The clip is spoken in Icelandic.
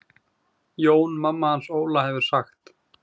Jóna mamma hans Óla hefur sagt.